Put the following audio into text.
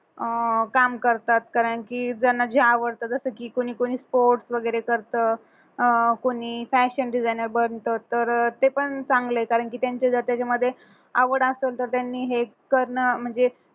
अं काम करतात कारण की ज्यांना जे आवडतं जसं की कोणी कोणी course वगैरे करत अं कोणी fashion designer बनतं तर ते पण चांगलं आहे कारण की त्यांचं जर त्याच्यामध्ये आवड असेल तर त्यांनी हे करणं म्हणजे